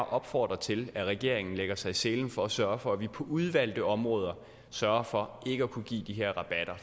opfordre til at regeringen lægger sig i selen for at sørge for at vi på udvalgte områder sørger for ikke at kunne give de her rabatter